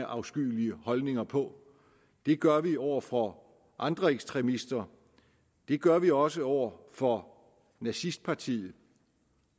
afskyelige holdninger på det gør vi over for andre ekstremister det gør vi også over for nazistpartiet